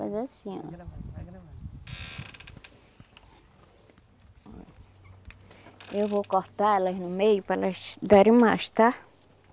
Faz assim, ó. Eu vou cortar elas no meio para elas darem mais, tá?